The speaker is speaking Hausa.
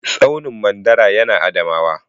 Tsaunin mandara ya na Adamawa